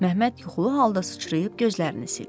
Məmməd yuxulu halda sıçrayıb gözlərini sildi.